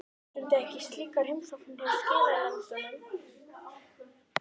Þið stundið ekki slíkar heimsóknir hjá skilanefndunum?